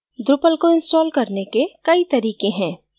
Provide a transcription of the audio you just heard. drupal को install करने के कई तरीके हैं